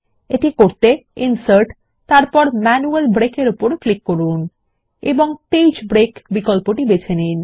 এটি করতে ইনসার্টগটগট ম্যানুয়াল ব্রেক ক্লিক করুন এবং পেজ ব্রেক বিকল্পটি বেছে নিন